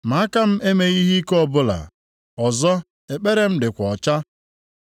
ma aka m emeghị ihe ike ọbụla, ọzọ ekpere m dịkwa ọcha.